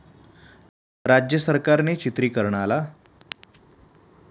राज्य सरकारने चित्रिकरणाला